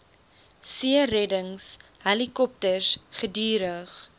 seereddings helikopters gedurig